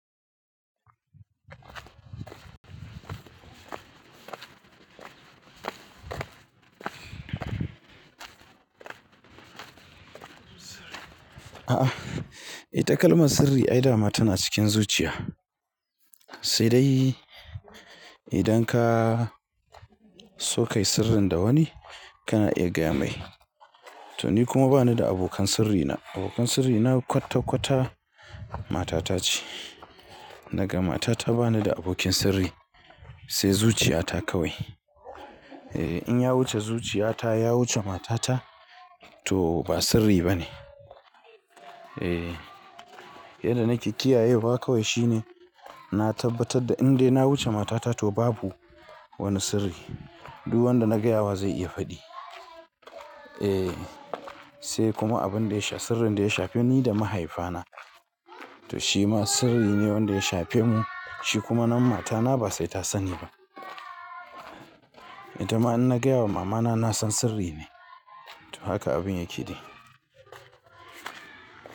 A'a, eh takalman sirri ai dama tana cikin zuciya. Sai dai idan ka sokayi sirrin da wani kana iya gaya mai. To ni kuma bani da abokan sirrina, abokan sirrina kwatta kwatta matata ce. Daga matata bani da abokin sirri sai zuciyata kawai. Eh in ya wuce zuciyata, ya wuce matata to ba sirri bane. Eh, yadda nake kiyaye wa kawai shine na tabbatar da indai na wuce matata to babu wani sirri. Duk wanda na gaya wa zai iya faɗi. Eh, sai kuma abun da ya sha sirrin da ya shafe ni da mahaifana. To shi ma sirri ne wanda ya shafe mu, shi kuma nan matana ba sai ta sani ba. Ita ma in na gaya wa mamana na san sirri ne. To haka abin yake dai.